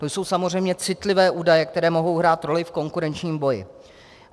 To jsou samozřejmě citlivé údaje, které mohou hrát roli v konkurenčním boji.